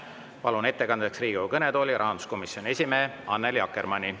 Palun ettekandeks Riigikogu kõnetooli rahanduskomisjoni esimehe Annely Akkermanni.